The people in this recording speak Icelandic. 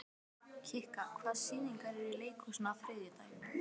Kikka, hvaða sýningar eru í leikhúsinu á þriðjudaginn?